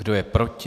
Kdo je proti?